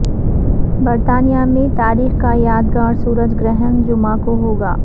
برطانیہ میں تاریخ کا یادگار سورج گرہن جمعہ کو ہوگا